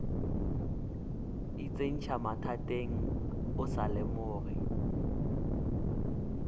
itsentšha mathateng o sa lemoge